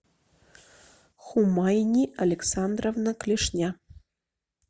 хумайни александровна клешня